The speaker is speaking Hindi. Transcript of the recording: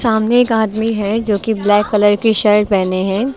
सामने एक आदमी है जो कि ब्लैक कलर की शर्ट पहने हैं।